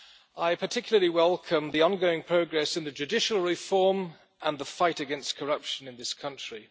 I particularly welcome the ongoing progress in judicial reform and the fight against corruption in this country.